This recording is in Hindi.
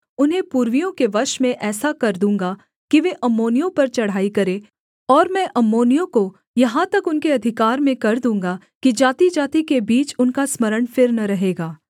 उन्हें पुर्वियों के वश में ऐसा कर दूँगा कि वे अम्मोनियों पर चढ़ाई करें और मैं अम्मोनियों को यहाँ तक उनके अधिकार में कर दूँगा कि जातिजाति के बीच उनका स्मरण फिर न रहेगा